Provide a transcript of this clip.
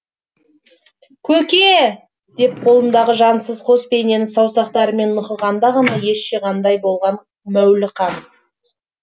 көке деп қолындағы жансыз қос бейнені саусақтарымен нұқығанда ғана ес жиғандай болған мәуліқан